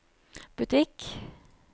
butikk